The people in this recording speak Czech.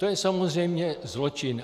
To je samozřejmě zločin.